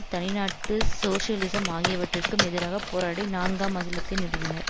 தனிநாட்டு socialism ஆகியவற்றிற்கும்மெதிராக போராடி நான்காம் அகிலத்தை நிறுவினர்